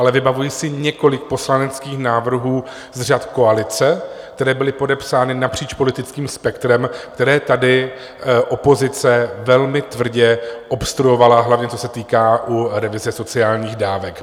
Ale vybavuji si několik poslaneckých návrhů z řad koalice, které byly podepsány napříč politickým spektrem, které tady opozice velmi tvrdě obstruovala, hlavně co se týká u revize sociálních dávek.